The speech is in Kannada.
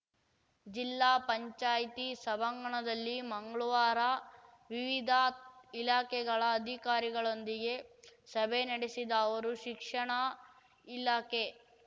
ಜಿಲ್ಲಾ ಪಂಚಾಯಿತಿ ಸಭಾಂಗಣದಲ್ಲಿ ಮಂಗ್ಳವಾರ ವಿವಿಧ ಇಲಾಖೆಗಳ ಅಧಿಕಾರಿಗಳೊಂದಿಗೆ ಸಭೆ ನಡೆಸಿದ ಅವರು ಶಿಕ್ಷಣ ಇಲಾಖೆ